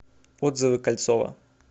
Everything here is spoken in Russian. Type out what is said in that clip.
отзывы кольцово